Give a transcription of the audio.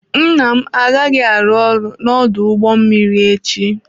Nna m agaghị arụ ọrụ n'ọdụ ụgbọ mmiri echi.